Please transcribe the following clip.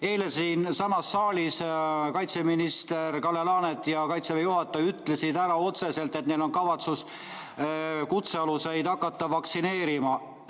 Eile siinsamas saalis kaitseminister Kalle Laanet ja Kaitseväe juhataja ütlesid otseselt, et neil on kavatsus kutsealuseid hakata vaktsineerima.